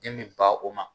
Den bi ba o ma